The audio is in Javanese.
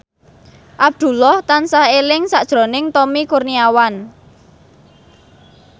Abdullah tansah eling sakjroning Tommy Kurniawan